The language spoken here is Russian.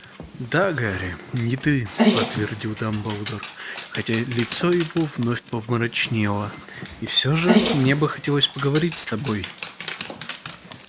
да гарри не ты подтвердил дамблдор хотя лицо его вновь помрачнело и всё же мне бы хотелось поговорить с тобой